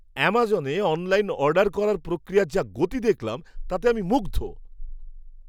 আমাজনে online order করার প্রক্রিয়ার যা গতি দেখলাম তাতে আমি মুগ্ধ!